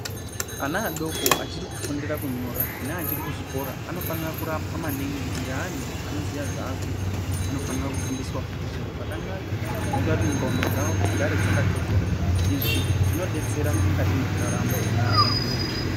Ana adoko achiri kufundira kunyora neachiri kuzvikora anofanire kurapwa maningi ngeanhu anoziya zvaakuita anofanira fkufundiswa futi zviro zvakanaka zvinoita kuti ndxondo dzawo dzigare dzaka thothoroka izvi zvinodetsera mukati mwekurarama mwaantu.